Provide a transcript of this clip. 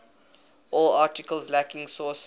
all articles lacking sources